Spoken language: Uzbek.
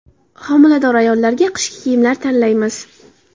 Homilador ayollarga qishki kiyimlar tanlaymiz.